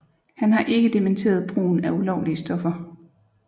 Han har ikke dementeret brugen af ulovlige stoffer